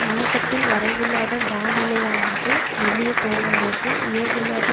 முயக்கத்தில் வரைவில்லாத மாணிழையானது மெல்லிய தோளானது உயர்வில்லாத